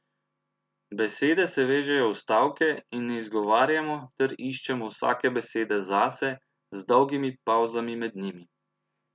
Besede se vežejo v stavke in ne izgovarjamo ter iščemo vsake besede zase z dolgimi pavzami med njimi.